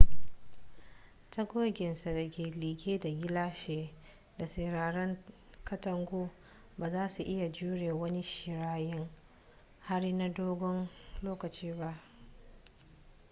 tagoginsa da ke liƙe da gilashi da siraran katangu ba za su iya jure wani shiryayyen hari na dogon lokaci ba